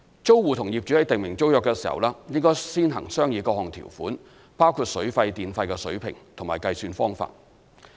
租戶與業主在訂定租約時，應先行商議各項條款，包括水費和電費的水平及計算方法。